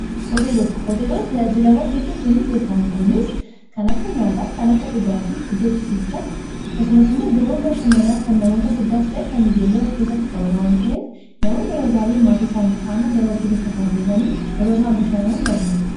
Hoteelota hooteelonni tajaajilawwan hedduu kennuun beekama kunis kan akka nyaataa kan akka dhugaatii iddoo ciisichaa akkasumas immoo iddoowwan bashananaa kan namoota guddaas ta'e kan ijoollee of keessatti qabata wan ta'eef namoonni yeroo baay'ee maatii isaanii faanaa gara hooteelota kana deemanii yeroo isaan bashannanan ni argina.